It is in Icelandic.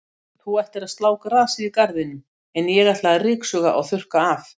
Þú ættir að slá grasið í garðinum, en ég ætla að ryksuga og þurrka af.